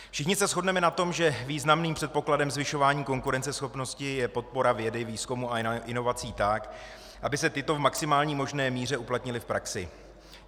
Všichni se shodneme na tom, že významným předpokladem zvyšování konkurenceschopnosti je podpora vědy, výzkumu a inovací tak, aby se tyto v maximální možné míře uplatnily v praxi.